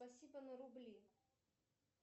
спасибо на рубли